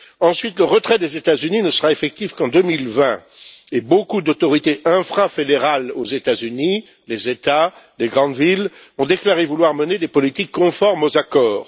Ensuite, le retrait des États Unis ne sera effectif qu'en 2020, et beaucoup d'autorités infrafédérales aux États Unis les États, les grandes villes ont déclaré vouloir mener des politiques conformes aux accords.